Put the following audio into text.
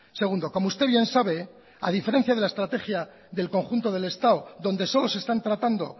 segundo como usted bien sabe a diferencia de la estrategia del conjunto del estado donde solo se están tratando